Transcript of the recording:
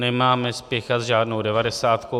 Nemáme spěchat s žádnou devadesátkou.